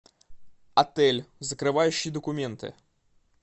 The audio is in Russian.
отель закрывающие документы